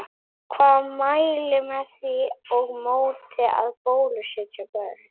Hvað mælir með því og móti að bólusetja börn?